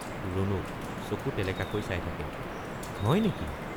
ৰুণুক— চকু টেলেকাকৈ চাই থাকে হয় নেকি?